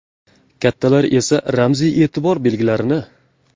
Kattalar esa ramziy e’tibor belgilarini.